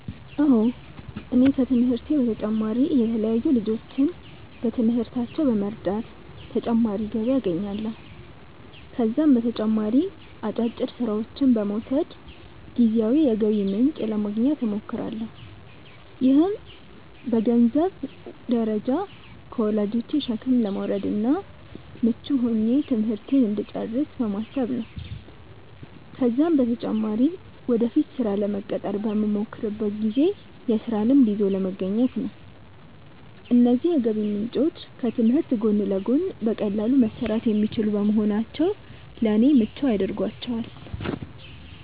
አዎ እኔ ከትምህርቴ በተጨማሪ የተለያዩ ልጆችን በትምህርታቸው በመርዳት ተጨማሪ ገቢ አገኛለሁ። ከዛም በተጨማሪ አጫጭር ስራዎችን በመውሰድ ጊዜያዊ የገቢ ምንጭ ለማግኘት እሞክራለሁ። ይህም በገንዘንብ ደረጃ ከወላጆቼ ሸክም ለመውረድ እና ምቹ ሆኜ ትምህርቴን እንድጨርስ በማሰብ ነው ነው። ከዛም በተጨማሪ ወደፊት ስራ ለመቀጠር በመሞክርበት ጊዜ የስራ ልምድ ይዞ ለመገኘት ነው። እነዚህ የገቢ ምንጮች ከትምህርት ጎን ለጎን በቀላሉ መሰራት የሚችሉ በመሆናቸው ለኔ ምቹ አድርጓቸዋል።